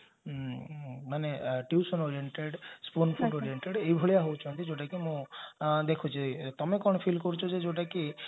ମାନେ tuition oriented oriented ଏଭଳିଆ ହେଉଛନ୍ତି ଯୋଉଟା କି ମୁଁ ଦେଖୁଛି ତମେ କଣ feel କରୁଛ ଯେ ଯୋଉଟା କି